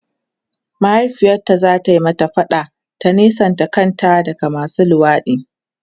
mahaifiyarta zata mata faɗa ta nesanta kanta daga masu luwaɗi